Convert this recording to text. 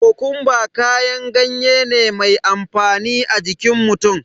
Kokumba kayan gayen ne mai amfani a jikin mutum